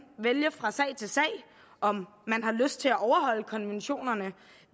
vælge fra sag til sag om man har lyst til at overholde konventionerne